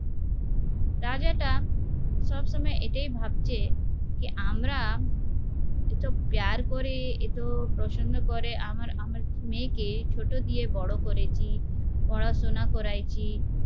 রাজাটা সবসময় এটাই ভাবছে যে আমরা এতো করে এতো প্রসন্ন করে আমার মেয়েকে ছোট দিয়ে বড়ো করেছি, পড়াশুনা করাইছি